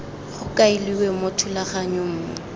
go kailwe mo thulaganyong mo